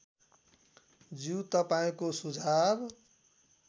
ज्यू तपाईँको सुझाव